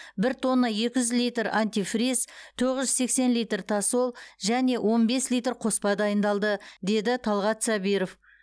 бір тонна екі жүз литр антифриз тоғыз жүз сексен литр тосол және он бес литр қоспа дайындалды деді талғат сабиров